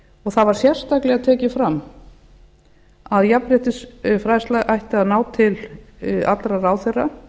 og þá var sérstaklega tekið fram að jafnréttisfræðsla ætti að ná til allra ráðherra